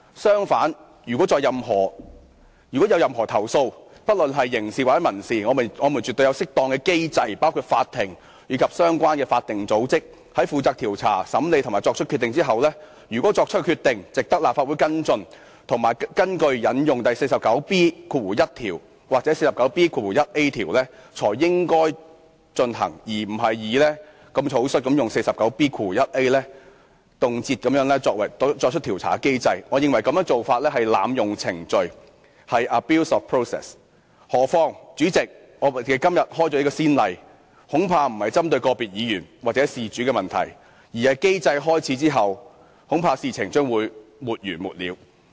相反，如果議員有任何投訴，不論是刑事或民事，我們絕對有適當的機制，包括法庭及相關法定組織，在它們負責調查、審理及作出決定後，如果決定值得立法會跟進及引用《議事規則》第 49B1 條或第 49B 條作出譴責，才應該進行，而並非如此草率，動輒引用第 49B 條行使調查機制，我認為這個做法是濫用程序；何況，代理主席，如果我們今天開此先例，恐怕不是針對個別議員或事主的問題，而是機制開始後，恐怕事情將會沒完沒了。